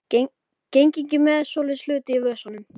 Geng ekki með svoleiðis hluti í vösunum.